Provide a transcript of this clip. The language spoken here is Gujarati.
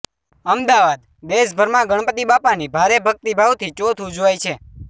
અમદાવાદઃ દેશભરમાં ગણપતિ બાપ્પાની ભારે ભક્તિભાવથી ચોથ ઉજવાય છે